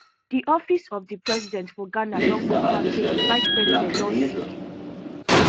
di office of di president for ghana don confam say di vice president don sick